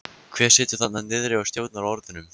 Hver situr þarna niðri og stjórnar orðunum?